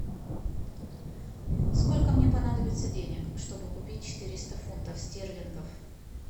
сколько мне понадобится денег чтобы купить четыреста фунтов стерлингов